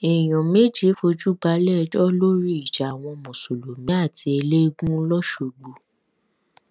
èèyàn méje fojú balẹẹjọ lórí ìjà àwọn mùsùlùmí àti ẹlẹẹgùn lọsgbọ